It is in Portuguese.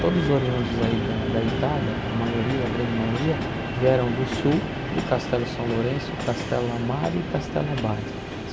Todos os oriundes aí da da Itália, a maioria, a grande maioria, vieram do sul, de Castelo São Lourenço, Castelo Amaro e Castelo Abade.